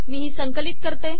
मी ही संकलित करते